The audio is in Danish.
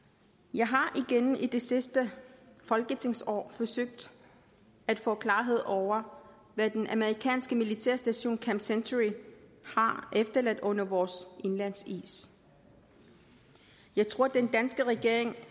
jeg har igennem det sidste folketingsår forsøgt at få klarhed over hvad den amerikanske militære station camp century har efterladt under vores indlandsis jeg tror at den danske regering